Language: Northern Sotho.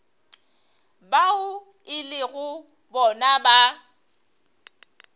bao e lego bona ba